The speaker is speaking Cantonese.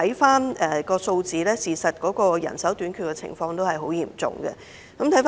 從數字來看，人手短缺的情況實在嚴重。